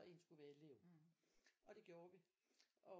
Og en skulle være elev og det gjorde vi